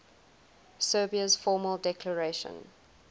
serbia's formal declaration